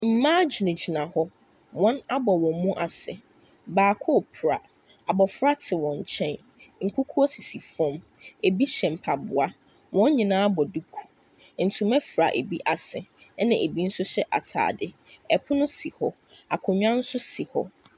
Mmaa gyinagyina hɔ. Wɔabɔ wɔn mu ase. Baako repra. Abɔfra te wɔn nkyɛn. Nkukuo sisi fam. Ɛbi hyɛ mpaboa. Wɔn nyinaa bɔ duku. Ntoma fira bi ase, ɛna ɛbi nso hyɛ atadeɛ. Pono si hɔ, akonnwa nso si hɔ.